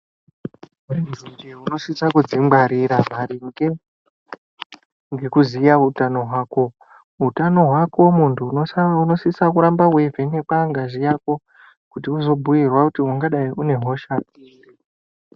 Tinosisa kudzingwarira maringe ngekuziya utano hwako. Utano hwako muntu unosisa kuramba weivhenekwa ngazi yako kuti uzobhuyirwa kuti ungadai une hosha iri.